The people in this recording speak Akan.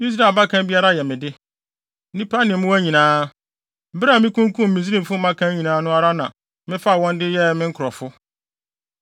Israel abakan biara yɛ me de; nnipa ne mmoa nyinaa. Bere a mikunkum Misraimfo mmakan nyinaa no ara na mefaa wɔn de wɔn yɛɛ me nkurɔfo.